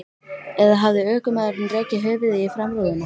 Eða hafði ökumaðurinn rekið höfuðið í framrúðuna?